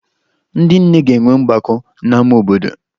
Ndị nne ga-enwe mgbakọ n'ama obodo